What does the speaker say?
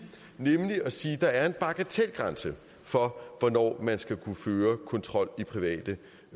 nemlig at sige at der er en bagatelgrænse for hvornår man skal kunne føre kontrol i private